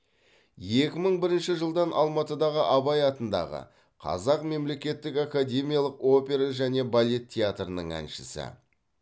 екі мың бірінші жылдан алматыдағы абай атындағы қазақ мемлекеттік академиялық опера және балет театрының әншісі